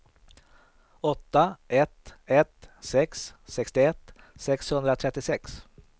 åtta ett ett sex sextioett sexhundratrettiosex